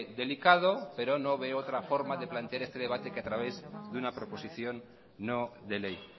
delicado pero no veo otra forma plantear este debate que a través de una proposición no de ley